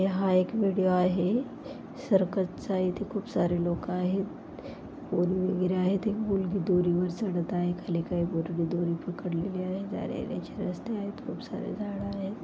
हा एक विडियो आहे सर्कसचा इथे खूपसारे लोक आहेत पोरी वगैरे आहेत एक मुलगी दोरीवर चढत आहे खाली काही पोरी दोरी पकडलेले आहे जाण्यायेण्याचे रस्ते आहेत खूपसारे झाड आहेत.